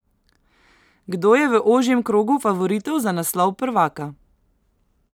Kdo je v ožjem krogu favoritov za naslov prvaka?